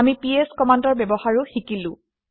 আমি পিএছ কমাণ্ডৰ ব্যৱহাৰো শিকিলো